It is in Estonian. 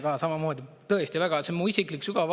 Mehena samamoodi, tõesti, väga.